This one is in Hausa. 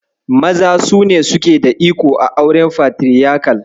Maza su ne suke da iko a auren Fatiriyakal.